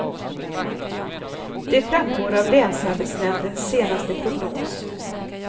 Det framgår av länsarbetsnämndens senaste prognos.